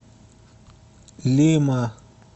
лима